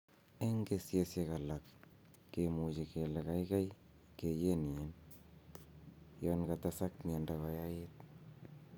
En kesisiek alak kimuche kele gaigai keyenyin, Yon katesak miondo koyait.